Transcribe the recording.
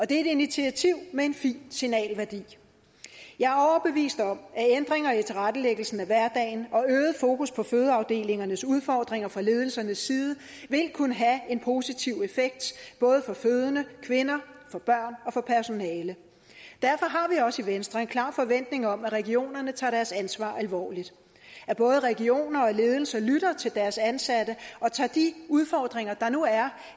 det er et initiativ med en fin signalværdi jeg er overbevist om at ændringer i tilrettelæggelsen af hverdagen og øget fokus på fødeafdelingernes udfordringer fra ledelsernes side vil kunne have en positiv effekt både for fødende kvinder for børn og for personalet derfor har vi også i venstre en klar forventning om at regionerne tager deres ansvar alvorligt at både regioner og ledelser lytter til deres ansatte og tager de udfordringer der nu er